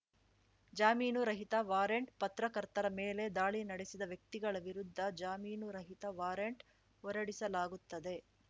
ಜಾಮೀನು ರಹಿತ ವಾರಂಟ್‌ ಪತ್ರಕರ್ತರ ಮೇಲೆ ದಾಳಿ ನಡೆಸಿದ ವ್ಯಕ್ತಿಗಳ ವಿರುದ್ಧ ಜಾಮೀನು ರಹಿತ ವಾರಂಟ್‌ ಹೊರಡಿಸಲಾಗುತ್ತದೆ